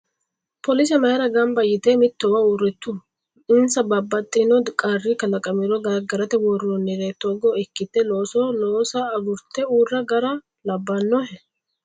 Police mayiira gamibba yite mittowa uurritu? Insa babbaxino qarri kalaqamiro gargarate worroonniri togo ikkite looso loosa agurte uurra gara labbanohe?